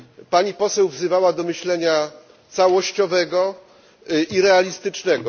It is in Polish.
Pani Poseł wzywała do myślenia całościowego i realistycznego.